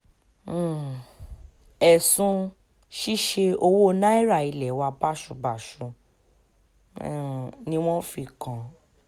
um ẹsun ṣiṣe owo naira ilẹ wa baṣubaṣu niwọn fi kan